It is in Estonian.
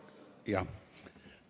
Jah.